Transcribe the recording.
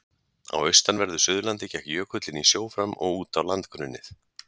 Á austanverðu Suðurlandi gekk jökullinn í sjó fram og út á landgrunnið.